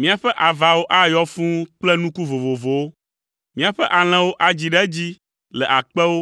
Míaƒe avawo ayɔ fũu kple nuku vovovowo. Míaƒe alẽwo adzi ɖe edzi le akpewo